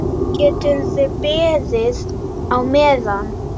Geturðu beðið á meðan.